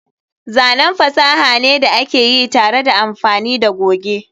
zanen fasaha ne da aka yi tare da amfani da goge